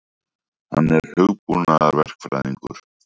Hann er hugbúnaðarverkfræðingur.